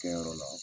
Kɛyɔrɔ la